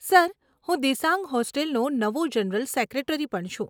Sir, હું દિસાંગ હોસ્ટેલનો નવો જનરલ સેક્રેટરી પણ છું.